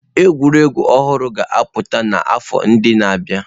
Egwuregwu ọhụrụ ga-apụta n'afọ ndị na-abịa.